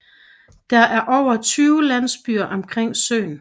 Der er over 20 landsbyer omkring søen